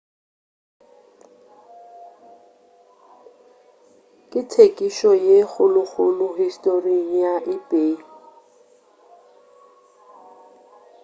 ke thekišo ye kgolokgolo historing ya ebay